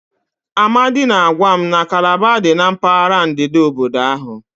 Amadi na-agwa m na Calabar dị na mpaghara ndịda obodo ahụ.